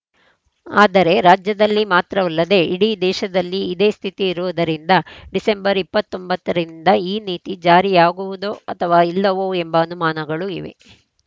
ಆದರೆ ರಾಜ್ಯದಲ್ಲಿ ಮಾತ್ರವಲ್ಲದೆ ಇಡೀ ದೇಶದಲ್ಲಿ ಇದೇ ಸ್ಥಿತಿಯಿರುವುದರಿಂದ ಡಿಸೆಂಬರ್ ಇಪ್ಪತ್ತ್ ಒಂಬತ್ತ ರಿಂದ ಈ ನೀತಿ ಜಾರಿಯಾಗುವುದೋ ಅಥವಾ ಇಲ್ಲವೋ ಎಂಬ ಅನುಮಾನಗಳು ಇವೆ